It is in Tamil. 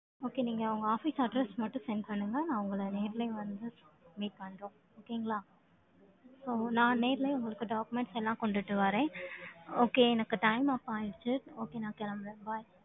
Okay, நீங்க உங்க office address மட்டும் send பண்ணுங்க. நான் உங்களை நேர்லயே வந்து, meet பண்றோம். Okay ங்களா. ஓ, நான் நேர்லயே உங்களுக்கு documents எல்லாம் கொண்டுட்டு வரேன். Okay, எனக்கு time off ஆயிருச்சு. Okay, நான் கிளம்புறேன். Bye